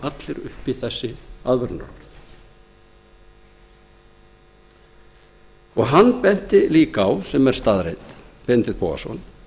hafa allir uppi þessi aðvörunarorð hann benti líka á sem er staðreynd benedikt bogason